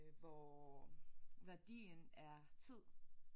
Hvor værdien er tid